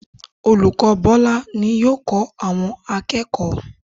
Olùkọ́ Bọ́lá ni yóò kọ́ àwọn akẹ́kọ̀ọ́